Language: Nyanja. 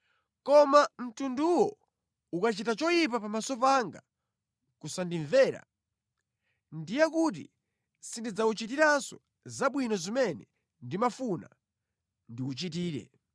Koma mtunduwo ukachita choyipa pamaso panga nʼkusandimvera, ndiye kuti sindidzawuchitiranso zabwino zimene ndimafuna ndiwuchitire.